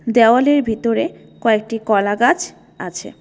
দেওয়ালের ভিতরে কয়েকটি কলাগাছ আছে।